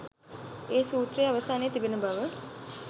ඒ සූත්‍රය අවසානයේ තිබෙන බව.